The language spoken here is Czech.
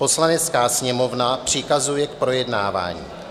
Poslanecká sněmovna přikazuje k projednávání: